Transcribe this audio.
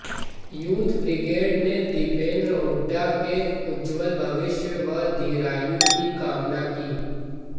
youth brigade ने दीपेंद्र हुड्डा के उज्ज्वल भविष्य व दीर्घायु की कामना की